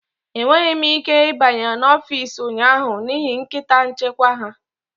Enweghị m ike ịbanye n'ọfịs ụnyaahụ n'ihi nkịta nchekwa ha